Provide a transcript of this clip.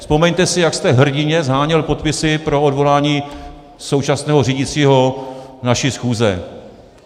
Vzpomeňte si, jak jste hrdinně sháněl podpisy pro odvolání současného řídícího naší schůze.